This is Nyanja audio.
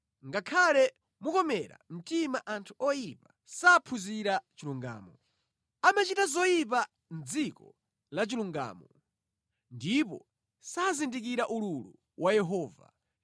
Ngakhale mukomere mtima anthu oyipa, saphunzira chilungamo. Amachita zoyipa mʼdziko la chilungamo, ndipo sazindikira ululu wa Yehova.